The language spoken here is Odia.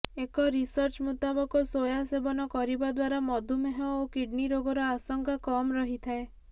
ଏକ ରିସର୍ଚ୍ଚ ମୁତାବକ ସୋୟା ସେବନ କରିବା ଦ୍ୱାରା ମଧୁମେହ ଓ କିଡ୍ନୀ ରୋଗର ଆଶଙ୍କା କମ୍ ରହିଥାଏ